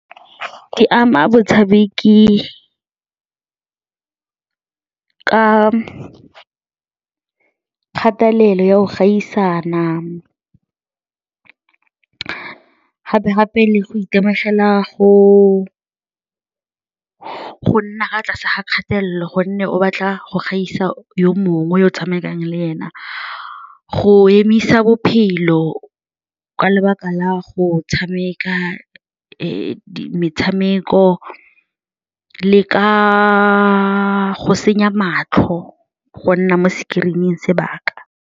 Di ama motshameki ka kgatelelo ya go gaisana, gape-gape le go itemogela go nna fa tlase ga kgatelelo gonne o batla go gaisa yo mongwe yo o tshamekang le ene, go emisa bophelo ka lebaka la go tshameka metshameko le ka go senya matlho, go nna mo screen-ing sebaka.